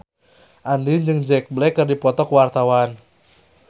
Andien jeung Jack Black keur dipoto ku wartawan